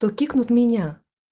то кикнут меня